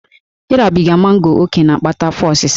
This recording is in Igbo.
Ịrabiga mango ókè na-akpata afọ osịsa